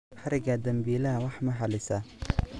Xarigga dambiilaha wax ma xallisaa?